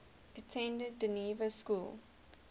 attended dynevor school